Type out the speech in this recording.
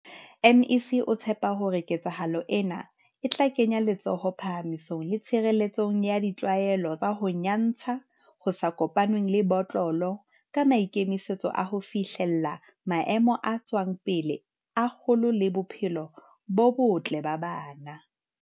MEC o tshepa hore ketsahalo ena e tla kenya letsoho phahamisong le tshirele tsong ya ditlwaelo tsa ho nya ntsha ho sa kopanngweng le botlolo ka maikemisetso a ho fihlella maemo a tswang pele a kgolo le bophelo bo botle ba bana.